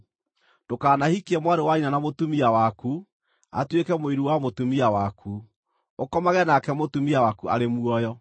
“ ‘Ndũkanahikie mwarĩ wa nyina na mũtumia waku atuĩke mũiru wa mũtumia waku, ũkomage nake mũtumia waku arĩ muoyo.